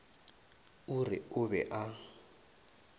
o re o be a